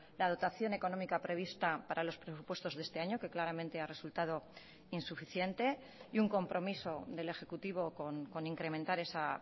la dotación económica prevista para los presupuestos de este año que claramente ha resultado insuficiente y un compromiso del ejecutivo con incrementar esa